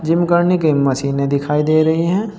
Gym करने के मशीने दिखाई दे रही है।